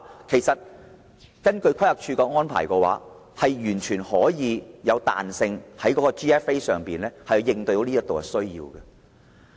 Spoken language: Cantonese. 其實，規劃署的要求完全具有彈性，能在 GFA 上滿足這方面的需要。